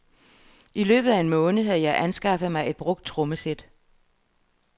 I løbet af en måned havde jeg anskaffet mig et brugt trommesæt.